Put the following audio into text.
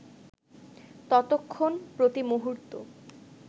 ততক্ষণ, প্রতিমুহূর্ত